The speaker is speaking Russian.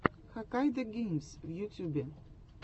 хаккайдогеймс в ютьюбе